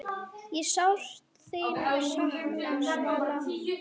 Ég sárt þín sakna, Svala.